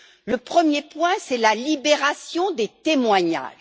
Le premier point, c'est la libération des témoignages.